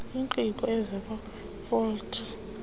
oqingqe ozobe ofote